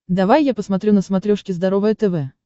давай я посмотрю на смотрешке здоровое тв